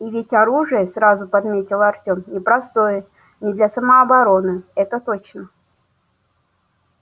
и ведь оружие сразу подметил артем непростое не для самообороны это точно